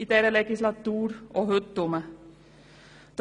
in dieser Legislatur und auch heute wieder.